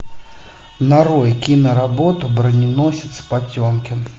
нарой киноработу броненосец потемкин